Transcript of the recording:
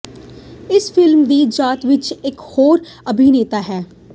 ਇਸ ਫਿਲਮ ਦੀ ਜਾਤ ਵਿੱਚ ਇੱਕ ਹੋਰ ਅਭਿਨੇਤਾ ਹੈ